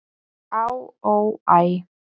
"""Á, ó, æ"""